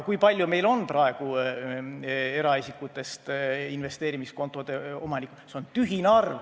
Kui palju meil on praegu eraisikutest investeerimiskontode omanikke?